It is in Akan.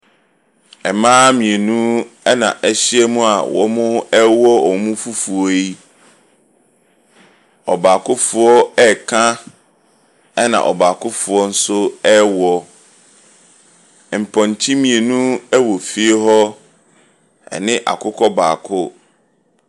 Mmaa mmienu ɛnna wɔahyiam a wɔrewɔ wɔn fufuo yi. Ɔbaakofoɔ reka, ɛnna ɔbaakofoɔ nso rewɔ. Mpɔnkye mmienu wɔ fie hɔ, ɛne akokɔ baako.